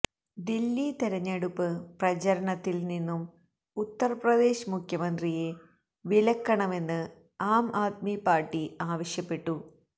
ദില്ലി തെരഞ്ഞെടുപ്പ് പ്രാചരണത്തില്നിന്നും ഉത്തര്പ്രദേശ് മുഖ്യമന്ത്രിയെ വിലക്കണമെന്ന് ആം ആദ്മി പാര്ട്ടി ആവശ്യപ്പെട്ടു